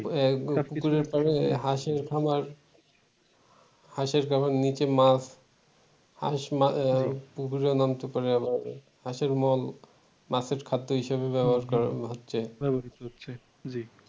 হাঁসের খামার নিচে মাছ হাঁস পুকুরে ও নামতে পারে আবার হাঁসের মল ও মাছের খাদ্য হিসেবে ব্যবহার করানো হচ্ছে